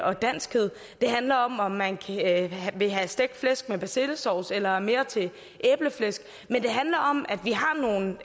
og danskhed handler om om man vil have stegt flæsk med persillesovs eller er mere til æbleflæsk men det handler om at vi har nogle